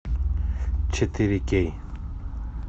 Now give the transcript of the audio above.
четыре кей